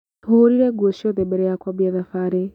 Tũhũrire nguo ciothe mbere ya kuambia thabarĩ.